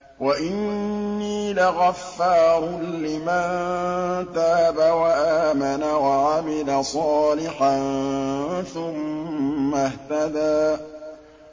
وَإِنِّي لَغَفَّارٌ لِّمَن تَابَ وَآمَنَ وَعَمِلَ صَالِحًا ثُمَّ اهْتَدَىٰ